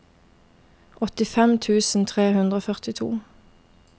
åttifem tusen tre hundre og førtito